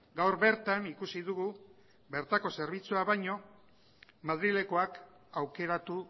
gaur bertan ikusi dugu bertako zerbitzua baino madrilekoak aukeratu